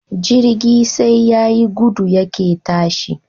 Jirgi sai yayi gudu yake tashi